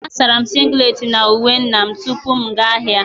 A sara m singlet na uwe nna m tupu m aga ahịa